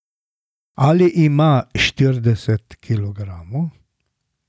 Ali ima štirideset kilogramov?